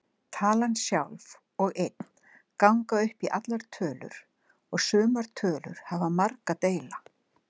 Talan sjálf og einn ganga upp í allar tölur og sumar tölur hafa marga deila.